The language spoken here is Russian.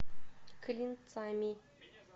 клинцами